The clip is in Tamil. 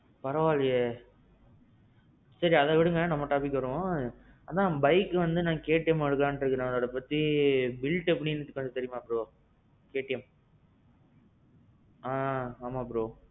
பரவாயிலேயே. சரி, அத விடுங்க நம்ம topic வருவோம். அதான் bike வந்து நான் KTM வாங்கலாம்னு இருக்கேன் அத பத்தி ஏதாவது built எப்பிடின்னு தெரியுமா bro? KTM. ஆ. ஆமாம் bro.